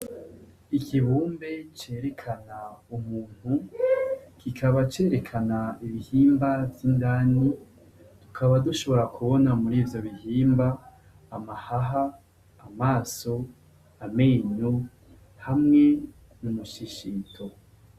ikibumbe cerekana umuntu kikaba cerekana ibihimba vy'indani tukaba dushobora kubona muri ivyo bihimba amahaha amaso amenyo hamwe nu mushishito